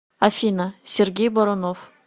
афина сергей борунов